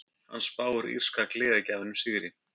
Hann spáir írska gleðigjafanum sigri.